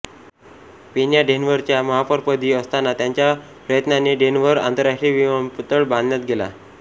Pena डेन्व्हरच्या महापौरपदी असताना त्यांच्या प्रयत्नांने डेन्व्हर आंतरराष्ट्रीय विमानतळ बांधला गेला